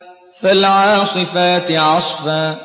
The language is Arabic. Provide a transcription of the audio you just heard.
فَالْعَاصِفَاتِ عَصْفًا